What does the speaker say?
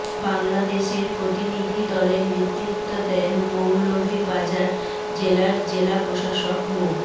বাংলাদেশের প্রতিনিধি দলে নেতৃত্ব দেন মৌলভীবাজার জেলার জেলা প্রশাসক মো